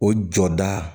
O jɔda